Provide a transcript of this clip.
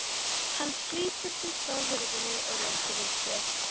Hann slítur sig frá hurðinni og réttir úr sér.